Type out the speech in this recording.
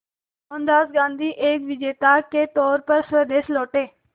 मोहनदास गांधी एक विजेता के तौर पर स्वदेश लौटे